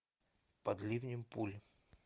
под ливнем пуль